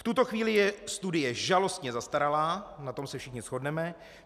V tuto chvíli je studie žalostně zastaralá - na tom se všichni shodneme.